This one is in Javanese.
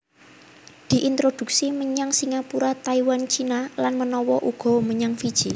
Diintroduksi menyang Singapura Taiwan Cina lan manawa uga menyang Fiji